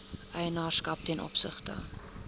eienaarskap ten opsigte